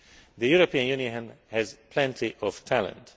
The European Union has plenty of talent.